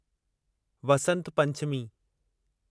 Vasant Panchami